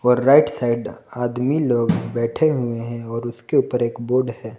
और right side आदमी लोग बैठे हुए हैं और उसके ऊपर एक बोर्ड है।